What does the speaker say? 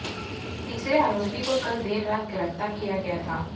तीसरे आरोपी को कल देर रात गिरफ्तार किया गया था